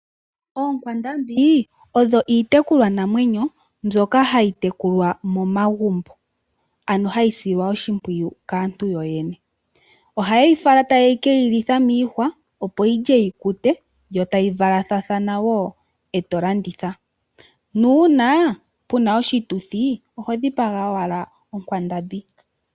Oonkwandambi odho iitekulwa namwenyo mbyoka hayi tekulwa momagumbo. Ano hayi silwa oshimpwiyu kaantu yoyene. Oha yeyi fala ta ye keyi litha miihwa opo yilye yi kute yo tayi valathana woo eto landitha. Nuuna puna oshituthi oho dhipaga owala onkwandambi.